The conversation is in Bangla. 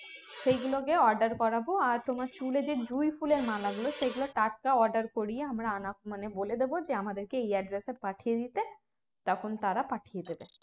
সেই গুলো কে order করাব আর তোমার চুলে যে জুঁই ফুলের মালা গুলো সে গুলো টাটকা order করিয়ে আমরা আনা মানে বলে দেবো যে আমাদেরকে এই address এ পাঠিয়ে দিতে তখন তারা পাঠিয়ে দেবে